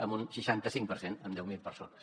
en un seixanta cinc per cent en deu mil persones